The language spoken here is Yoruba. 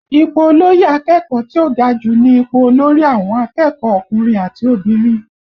Ipò olóyè akẹ́kọ̀ọ́ tí ó ga jù ní ipò olórí àwọn akẹ́kọ̀ọ́ ọkùnrin àti obìnrin